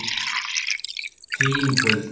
Þín, Hulda.